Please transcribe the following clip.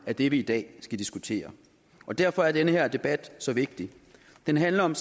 er det vi i dag skal diskutere derfor er den her debat så vigtig den handler om